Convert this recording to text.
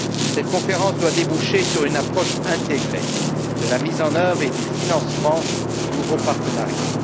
Cette conférence doit déboucher sur une approche intégrée de la mise en œuvre et du financement du nouveau partenariat.